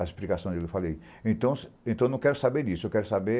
A explicação dele, eu falei, então então eu não quero saber disso, eu quero saber